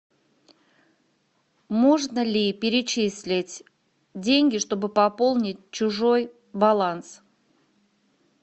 можно ли перечислить деньги чтобы пополнить чужой баланс